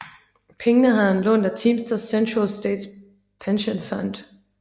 Pengene havde han lånt af Teamsters Central States Pension Fund